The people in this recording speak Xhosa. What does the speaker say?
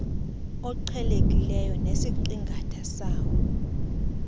oqhelekileyo nesiqingatha sawo